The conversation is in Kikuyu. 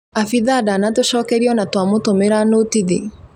Abitha ndanatũcokeria ona twamũtũmĩra nũtithi